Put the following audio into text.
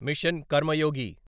machine Karmayogi